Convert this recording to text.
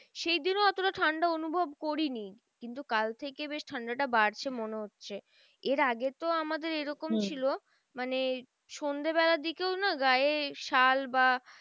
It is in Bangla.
সেইদিনও এতটা ঠান্ডা অনুভব করিনি। কিন্তু কাল থেকে বেশ ঠান্ডাটা বাড়ছে মনে হচ্ছে এর আগে তো আমাদের এরকম ছিল। মানে সন্ধে বেলার দিকেও না গায়ে শাল বা